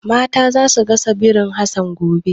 Mata za su gasa birin Hassan gobe.